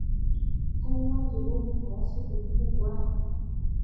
aingwaa jikoni aya supu ekuku ang